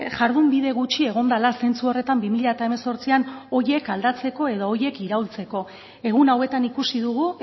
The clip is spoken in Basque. jardunbide gutxi egon dela zentzu horretan bi mila hemezortzian horiek aldatzeko edo horiek iraultzeko egun hauetan ikusi dugu